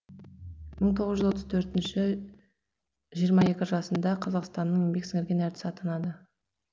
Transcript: мың тоғыз жүз отыз төртінші жиырма екі жасында қазақстанның еңбек сіңірген әртісі атанды